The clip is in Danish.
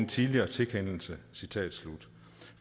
tidligere tilkendelse